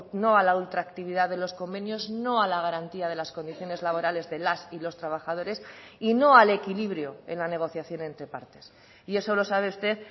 no a la ultraactividad de los convenios no a la garantía de las condiciones laborales de las y los trabajadores y no al equilibrio en la negociación entre partes y eso lo sabe usted